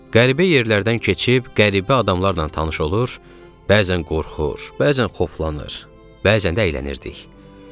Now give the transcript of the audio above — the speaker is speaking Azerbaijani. Qəribə yerlərdən keçib, qəribə adamlarla tanış olur, bəzən qorxur, bəzən xoflanır, bəzən də əylənirdik.